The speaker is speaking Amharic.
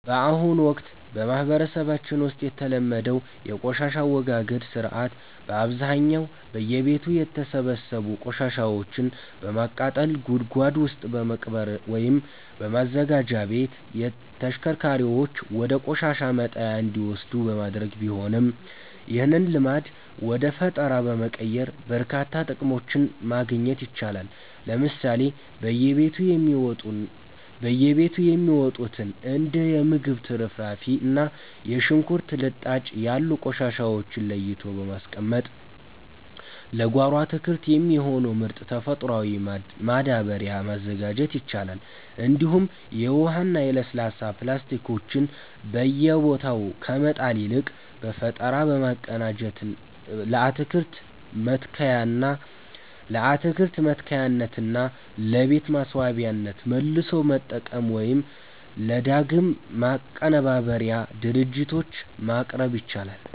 በአሁኑ ወቅት በማህበረሰባችን ውስጥ የተለመደው የቆሻሻ አወጋገድ ሥርዓት በአብዛኛው በየቤቱ የተሰበሰቡ ቆሻሻዎችን በማቃጠል፣ ጉድጓድ ውስጥ በመቅበር ወይም በማዘጋጃ ቤት ተሽከርካሪዎች ወደ ቆሻሻ መጣያ እንዲወሰዱ በማድረግ ቢሆንም፣ ይህንን ልማድ ወደ ፈጠራ በመቀየር በርካታ ጥቅሞችን ማግኘት ይቻላል። ለምሳሌ በየቤቱ የሚወጡትን እንደ የምግብ ትርፍራፊ እና የሽንኩርት ልጣጭ ያሉ ቆሻሻዎችን ለይቶ በማስቀመጥ ለጓሮ አትክልት የሚሆን ምርጥ ተፈጥሯዊ ማዳበሪያ ማዘጋጀት ይቻላል፤ እንዲሁም የውሃና የለስላሳ ፕላስቲኮችን በየቦታው ከመጣል ይልቅ በፈጠራ በማቀናጀት ለአትክልት መትከያነትና ለቤት ማስዋቢያነት መልሶ መጠቀም ወይም ለዳግም ማቀነባበሪያ ድርጅቶች ማቅረብ ይቻላል።